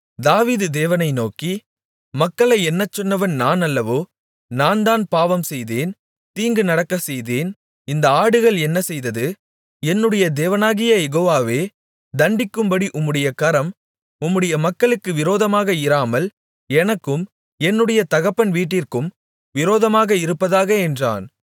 தாவீது தேவனை நோக்கி மக்களை எண்ணச்சொன்னவன் நான் அல்லவோ நான்தான் பாவம் செய்தேன் தீங்கு நடக்கச்செய்தேன் இந்த ஆடுகள் என்ன செய்தது என்னுடைய தேவனாகிய யெகோவாவே தண்டிக்கும்படி உம்முடைய கரம் உம்முடைய மக்களுக்கு விரோதமாக இராமல் எனக்கும் என்னுடைய தகப்பன் வீட்டிற்கும் விரோதமாக இருப்பதாக என்றான்